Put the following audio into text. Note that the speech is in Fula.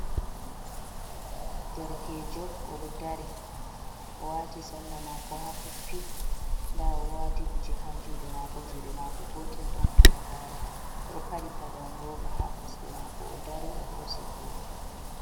Derkejo oɗodari o wati salla mako ha koppi, nda o wati kuje ha jude mako, jude mako gotel don halagare oɗo paɗi paɗon roba ha kosɗe mako o dari o hosi hoto.